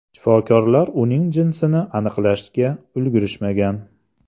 Shifokorlar uning jinsini aniqlashga ulgurishmagan.